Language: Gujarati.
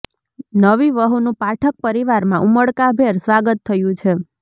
નવી વહુનું પાઠક પરિવારમાં ઉમળકાભેર સ્વાગત થયું છે